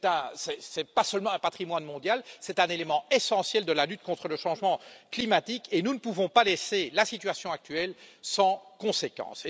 Ce n'est pas seulement un patrimoine mondial, c'est un élément essentiel de la lutte contre le changement climatique et nous ne pouvons pas laisser la situation actuelle sans conséquences.